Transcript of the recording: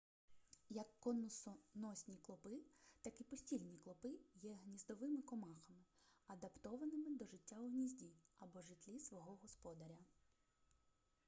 як конусоносні клопи так і постільні клопи є гніздовими комахами адаптованими до життя у гнізді або житлі свого господаря